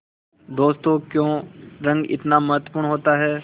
दोस्तों क्यों रंग इतना महत्वपूर्ण होता है